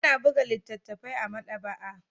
Ana buga littattafai a maɗaba'a